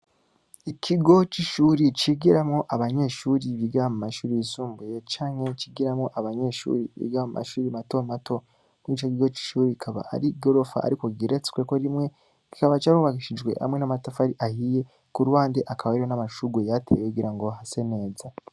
Ikigo c'ishuri cigiramwo abanyeshuri bigira mu mashure yisumbuye canke cigiramwo abanyeshuri bigira mu mashure mato mato, muri ico kigo c'ishure akaba ari igorofa ariko igeretsweko rimwe kikaba carubakishijwe hamwe n'amatafari ahiye, ku ruhande hakaba hari n'amashurwe yayateye kugirango hase neza.